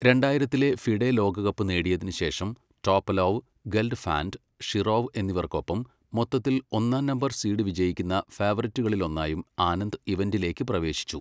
രണ്ടായിരത്തിലെ FIDE ലോകകപ്പ് നേടിയതിന് ശേഷം, ടോപലോവ്, ഗെൽഫാൻഡ്, ഷിറോവ് എന്നിവർക്കൊപ്പം മൊത്തത്തിൽ ഒന്നാം നമ്പർ സീഡ് വിജയിക്കുന്ന ഫേവറിറ്റുകളിലൊന്നായും ആനന്ദ് ഇവന്റിലേക്ക് പ്രവേശിച്ചു.